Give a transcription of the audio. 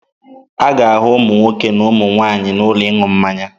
Ị ga-ahụ ụmụ nwoke na ụmụ nwaanyị n'ụlọ ịṅụ mmanya.